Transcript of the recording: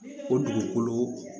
O dugukolo